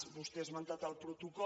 vostè ha esmentat el protocol